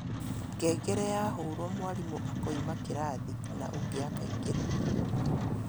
Ngengere yahũrwo mwarimũ akoima kĩrathi na ũngĩ akaingĩra